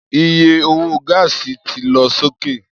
Iye owó gáàsì ti lọ sókè